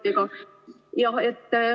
... sama on päikeseparkidega.